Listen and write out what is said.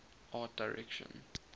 art direction